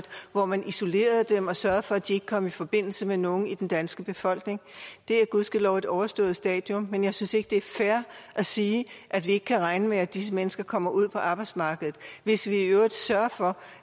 hvor man isolerede dem og sørgede for at de ikke kom i forbindelse med nogen i den danske befolkning det er gudskelov et overstået stadium men jeg synes ikke det er fair at sige at vi ikke kan regne med at disse mennesker kommer ud på arbejdsmarkedet hvis vi i øvrigt sørger for